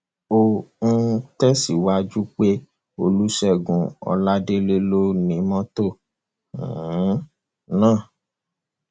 ó um tẹsíwájú pé olùṣègùn ọládélé ló ni mọtò um náà